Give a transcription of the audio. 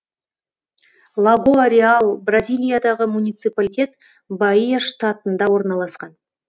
лагоа реал бразилиядағы муниципалитет баия штатында орналасқан